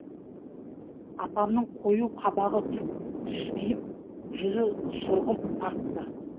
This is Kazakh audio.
апамның қою қабағы түскиіп жүзі сұрғылт тартты